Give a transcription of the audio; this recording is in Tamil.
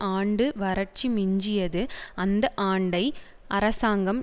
ஆண்டு வறட்சி மிஞ்சியது அந்த ஆண்டை அரசாங்ம்